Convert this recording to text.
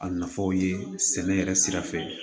A nafaw ye sɛnɛ yɛrɛ sira fɛ